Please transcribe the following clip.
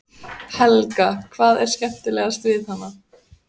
Helga: Hvað er skemmtilegast við hana?